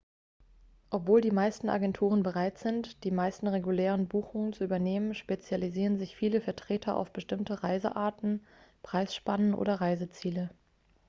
obwohl die meisten agenturen bereit sind die meisten regulären buchungen zu übernehmen spezialisieren sich viele vertreter auf bestimmte reisearten preisspannen oder reiseziele